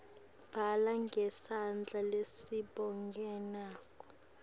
bhala ngesandla lesibonakalako